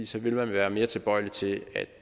så vil man være mere tilbøjelig til at